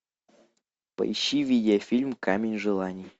поищи видеофильм камень желаний